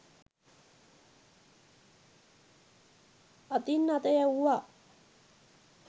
අතින් අත යැවුවා.